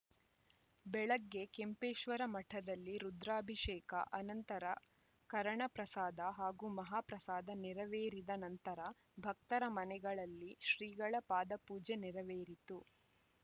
ಬೆಳಗ್ಗೆ ಕೆಂಪೇಶ್ವರ ಮಠದಲ್ಲಿ ರುದ್ರಾಭಿಷೇಕ ಅನಂತರ ಕರಣಪ್ರಸಾದ ಹಾಗೂ ಮಹಾಪ್ರಸಾದ ನೇರವೇರಿದ ನಂತರ ಭಕ್ತರ ಮನೆಗಳಲ್ಲಿ ಶ್ರೀಗಳ ಪಾದಪೂಜೆ ನೆರವೇರಿತು